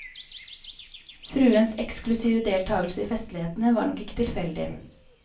Fruens eksklusive deltagelse i festlighetene var nok ikke tilfeldig.